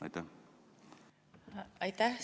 Aitäh!